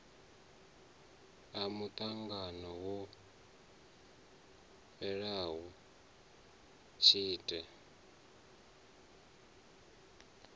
a muṱangano wo fhelaho tshite